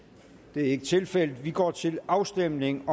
det er ikke tilfældet og vi går til afstemning